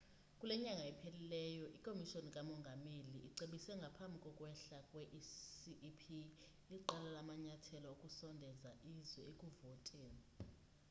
kule nyanga iphelileyo ikomishoni kamongameli icebise ngaphambi kokwehla kwe-cep iqela lamanyathelo okusondeza izwe ekuvoteni